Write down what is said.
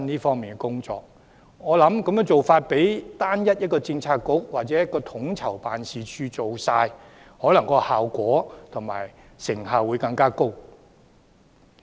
我認為這個做法比由單一的政策局或統籌辦事處負責，成效會更高。